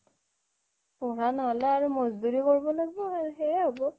পঢ়া নহ'লে মজদুৰি কৰিব লাগিব আৰু সেইয়াই হ'ব